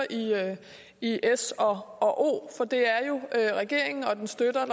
i s og o for det er jo regeringen og dens støtter